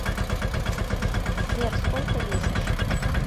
сбер сколько весишь